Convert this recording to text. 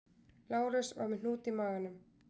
Lárus var með hnút í maganum